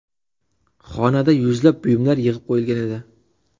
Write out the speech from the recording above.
Xonada yuzlab buyumlar yig‘ib qo‘yilgan edi.